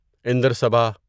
اندر صباہ